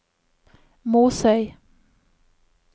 Måsøy